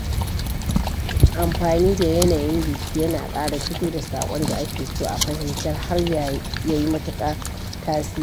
Amfani da yanayin jiki yana ƙara fito da saƙon da ake so a fahimtar har yayi matukar tasiri.